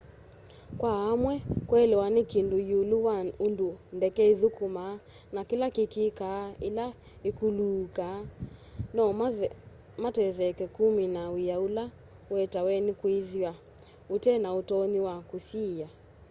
kwa amwe kuelewa ni kindu yiulu wa undu ndeke ithukumaa na kila kikikaa ila ikuuluka no matetheke kumina wia ula uetawe ni kwithwa ute na utonyi wa kusyiia